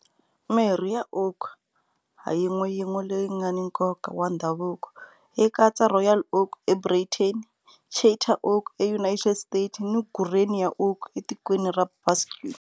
Mirhi ya oak ha yin'weyin'we leyi nga ni nkoka wa ndhavuko yi katsa Royal Oak eBritain, Charter Oak eUnited States ni Guernica Oak eTikweni ra Basque.